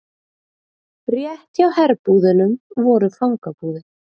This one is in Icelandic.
Rétt hjá herbúðunum voru fangabúðir.